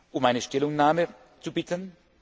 um eine Stellungnahme zu bitten.